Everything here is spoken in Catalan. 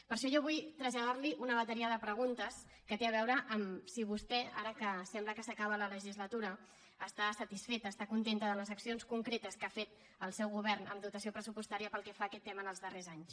per això jo vull traslladarli una bateria de preguntes que té a veure amb si vostè ara que sembla que s’acaba la legislatura està satisfeta està contenta de les accions concretes que ha fet el seu govern en dotació pressupostària pel que fa a aquest tema en els darrers anys